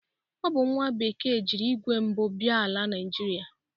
Ọ bụ nwa bekee jiri igwe mbụ bia ala Naịjịrịa.